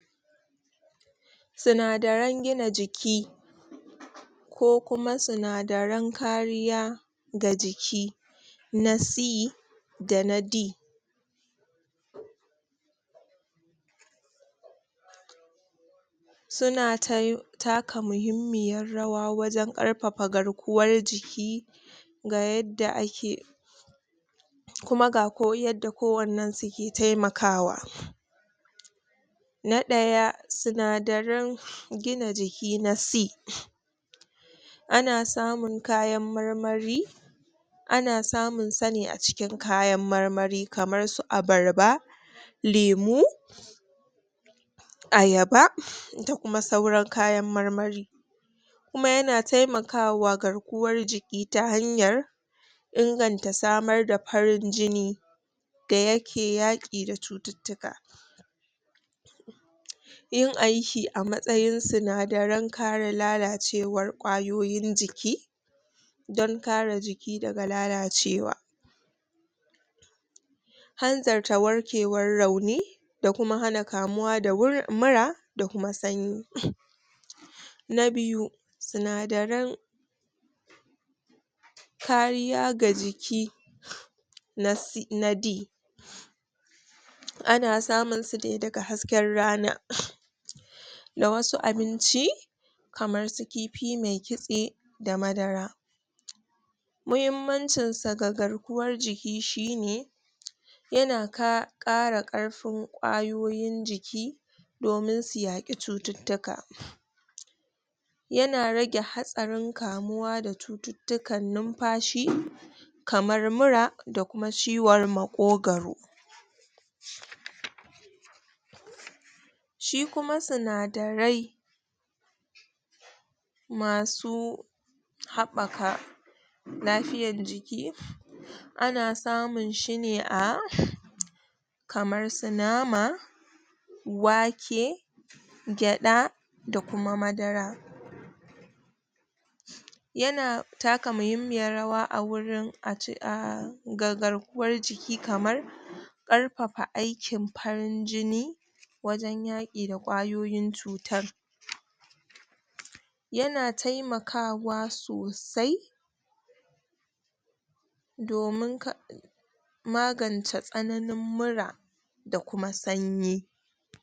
Sinadaran gina jiki ko kuma sinadaran kariya ga jiki na C da na D. Su na tai taka muhimmiyar rawa wajen ƙarfafa garkuwar jiki ga yadda ake ku ga ko yadda kowannen su ke taimakawa; Na ɗaya; Sinadaran gina jiki na C. Ana samun kayan marmari ana samun sa ne a cikin kayan marmari kamar su abarba, lemu, ayaba da kuma sauran kayan marmari. Kuma ya na taimakawa garkuwar jiki ta hanyar inganta samar da farin da ya ke yaƙi da cututtuka. Yin aiki a matsayin sinadaran kare lalacewar ƙwayoyin jiki, don kare jiki daga lalacewa. hanzarata warkewar rauni da kuma hana kamuwa da mura da kuma sanyi. Na biyu; Sinadaran kariya ga jiki na C na D. Ana samun su ne daga hasken rana na wasu abinci kamar su kifi mai kitse da madara. Muhimmancin sa ga garkuwar jiki shi ne. Ya na ka ƙara ƙarfin ƙwayoyin jiki, domin su yaƙi cututtuka. Ya na rage hatsarin kamuwa da cututtukan numfashi, kamar mura da kuma ciwar maƙogaro. Shi kuma sinadarai masu haɓaka lafiyan jiki ana samun shi ne a kamar su nama, wake, gyaɗa da kuma madara. Ya na taka muhimmiyar rawa a wurin a ce a ga garkuwar jiki kamar ƙarfafa aikin farin jini, wajen yaƙi da ƙwayoyin cuta. Ya na taimakawa sosai domin ka magance tsananin mura da kuma sanyi.